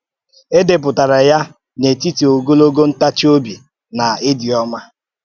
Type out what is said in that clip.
Édepụtara ya n’etìtì “ògòlògo ntàchì-òbì” na “ìdị́ ọ́mà